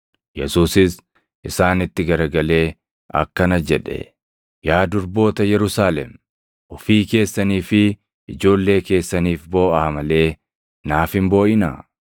Yesuusis isaanitti garagalee akkana jedhe; “Yaa durboota Yerusaalem, ofii keessanii fi ijoollee keessaniif booʼaa malee naaf hin booʼinaa.